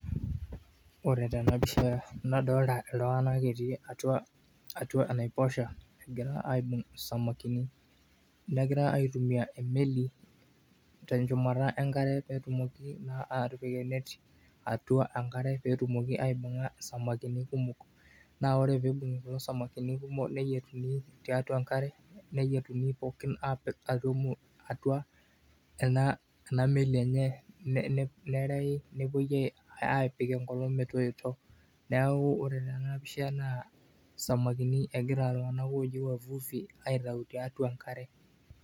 Oore taa eena piisha nadolta iltung'anak etii atua enaiposha, negira aibung isamakini, negira aitumia emeli tenchumata enkara peetumoki naa atipik eneti atua enkare pee etumoki aibung'a isamakini kumok. Naa oore pee eibung'i kulo samakini kumok neyietuni tiatua enkare, neyietuni pookin aapik atua ena meli eenye nerei nepuoi aapik enkolong' metoito. Niaku ore teena pisha naa isamakini egira kulo tung'anak looji wavuvi aitau tiatua enkare.